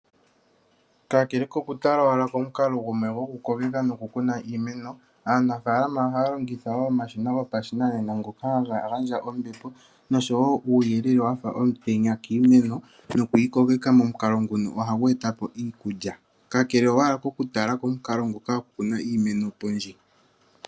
Kakele kokutala owala komukalo gumwe gokukokeka nokukuna iimeno, aanafalama ohaya longitha wo omashina gopashinanena ngoka haga gandja ombepo noshowo uuyelele wafa omutenya kiimeno. Okuyi kokeka momukalo nguno ohagu etapo iikulya. Kakele owala kokutala komukalo ngoka gokukuna iimeno pondje.